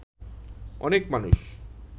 অনেক মানুষ